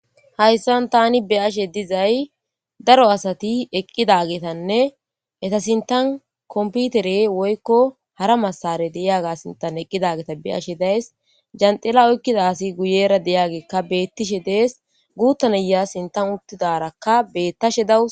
Hayssan tani be'ashe dizay daro asati eqqidaagetanne eta sinttan kompiterey woykko hara masare de'iyage sintan eqqidageta be'ashe dayssi. Janxxila oykkida asi guyera diyageykka beettishe dees. Gutta na'iya sinttan uttidarakka beettashe dawus.